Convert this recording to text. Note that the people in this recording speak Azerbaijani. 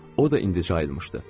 O da indi ayılmışdı.